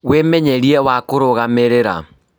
Wĩmenyeria wa kũrũgamĩrĩra